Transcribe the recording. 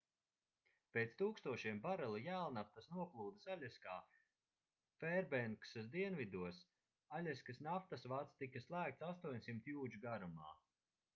pēc tūkstošiem barelu jēlnaftas noplūdes aļaskā fērbenksas dienvidos aļaskas naftas vads tika slēgts 800 jūdžu garumā